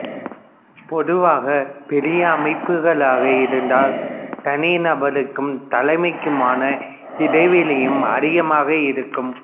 பொதுவாக பெரிய அமைப்புகளாக இருந்தால் தனிநபருக்கும் தலைமைக்குமான இடைவெளியும் அதிகமாக இருக்கும்